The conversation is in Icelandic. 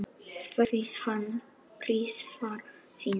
Þetta gerði hann þrisvar sinnum.